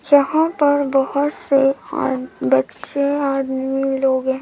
यहां पर बहोत से अ बच्चे आदमी लोग हैं।